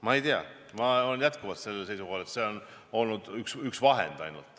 Ma ei tea, ma olen jätkuvalt sellel seisukohal, et see on olnud ainult üks vahend.